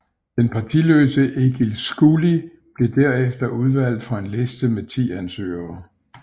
Den partiløse Egil Skúli blev derefter udvalgt fra en liste med ti ansøgere